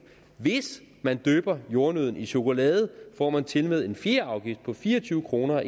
hvis man dypper jordnødden i chokolade får man tilmed en fjerde afgift på fire og tyve kroner